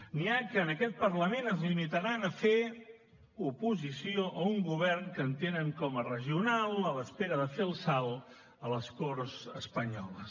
n’hi ha que en aquest parlament es limitaran a fer oposició a un govern que entenen com a regional a l’espera de fer el salt a les corts espanyoles